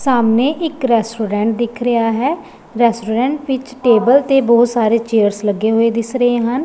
ਸਾਹਮਣੇ ਇੱਕ ਰੈਸਟੋਰੈਂਟ ਦਿਖ ਰਿਹਾ ਹੈ ਰੈਸਟੋਰੈਂਟ ਵਿੱਚ ਟੇਬਲ ਤੇ ਬਹੁਤ ਸਾਰੇ ਚੇਅਰਸ ਲੱਗੇ ਹੋਏ ਦਿਸ ਰਹੇ ਹਨ।